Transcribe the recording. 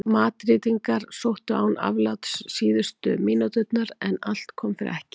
Madrídingar sóttu án afláts síðustu mínúturnar en allt kom fyrir ekki.